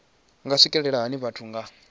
nga swikelelwa hani vhathu nga